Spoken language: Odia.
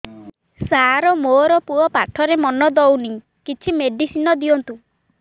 ସାର ମୋର ପୁଅ ପାଠରେ ମନ ଦଉନି କିଛି ମେଡିସିନ ଦିଅନ୍ତୁ